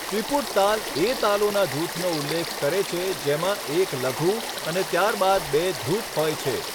ત્રિપુટ તાલ એ તાલોના જૂથનો ઉલ્લેખ કરે છે જેમાં એક લઘુ અને ત્યારબાદ બે ધૃત હોય છે.